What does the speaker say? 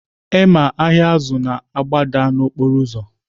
Emma ahịa azụ na-agbada n'okporo ụzọ